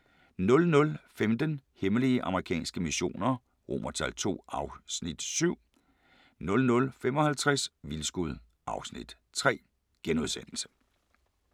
00:15: Hemmelige amerikanske missioner II (Afs. 7) 00:55: Vildskud (Afs. 3)*